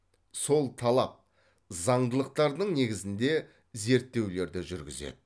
сол талап заңдылықтардың негізінде зерттеулерді жүргізеді